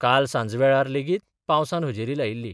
काल सांजवेळार लेगीत पावसान हजेरी लायिल्ली.